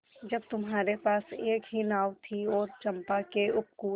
जब तुम्हारे पास एक ही नाव थी और चंपा के उपकूल